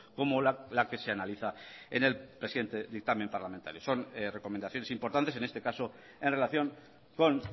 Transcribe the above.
como la que se analiza en el presente dictamen parlamentario son recomendaciones importantes en este caso en relación con